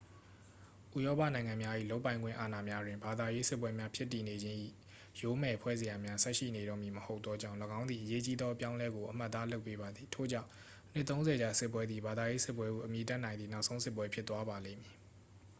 ဥရောပနိုင်ငံများ၏ လုပ်ပိုင်ခွင့်အာဏာများတွင် ဘာသာရေးစစ်ပွဲများဖြစ်တည်နေခြင်း၏ ယိုးမယ်ဖွဲ့စရာများ ဆက်ရှိနေတော့မည်မဟုတ်သောကြောင့် ၎င်းသည် အရေးကြီးသောအပြောင်းအလဲကို အမှတ်အသားလုပ်ပေးပါသည် ထို့ကြောင့် နှစ်သုံးဆယ်ကြာစစ်ပွဲသည် ဘာသာရေးစစ်ပွဲဟု အမည်တပ်နိုင်သည့် နောက်ဆုံးစစ်ပွဲ ဖြစ်သွားပါလိမ့်မည်